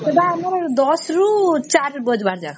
ସେଟ ଆମର ୧୦ ରୁ ୪ ବାଜିବା ଯାକେ